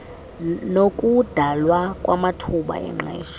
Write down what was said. nokudalwa kwamathuba engqesho